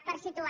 per situar